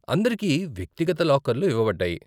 అందరికి వ్యక్తిగత లాకర్లు ఇవ్వబడ్డాయి.